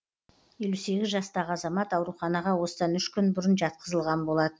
елу сегіз жастағы азамат ауруханаға осыдан үш күн бұрын жатқызылған болатын